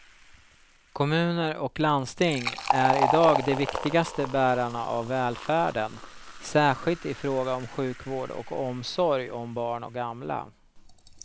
Kommuner och landsting är i dag de viktigaste bärarna av välfärden, särskilt i fråga om sjukvård och omsorg om barn och gamla.